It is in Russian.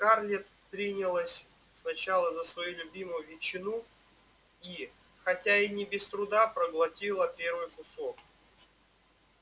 скарлетт принялась сначала за свою любимую ветчину и хотя и не без труда проглотила первый кусок